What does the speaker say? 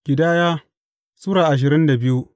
Ƙidaya Sura ashirin da biyu